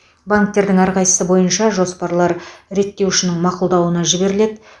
банктердің әрқайсысы бойынша жоспарлар реттеушінің мақұлдауына жіберіледі